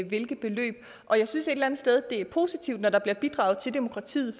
hvilke beløb og jeg synes et eller andet sted det er positivt når der bliver bidraget til demokratiet